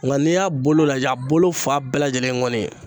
Nga n'i y'a bolo lajɛ a bolo fa bɛɛ lajɛlen ye ŋɔni ye